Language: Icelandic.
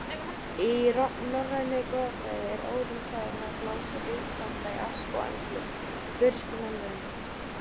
Í norrænni goðafræði er Óðinn sagður hafa blásið lífsanda í Ask og Emblu, fyrstu mannverurnar.